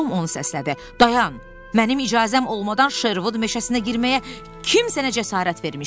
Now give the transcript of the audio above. Dayan, mənim icazəm olmadan Şervud meşəsinə girməyə kim sənə cəsarət vermişdi?